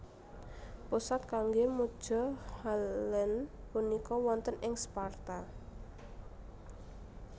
Pusat kanggé muja Helene punika wonten ing Sparta